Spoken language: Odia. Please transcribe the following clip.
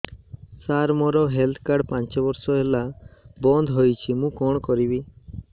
ସାର ମୋର ହେଲ୍ଥ କାର୍ଡ ପାଞ୍ଚ ମାସ ହେଲା ବଂଦ ହୋଇଛି ମୁଁ କଣ କରିବି